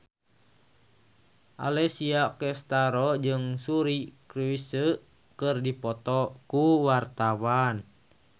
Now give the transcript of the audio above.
Alessia Cestaro jeung Suri Cruise keur dipoto ku wartawan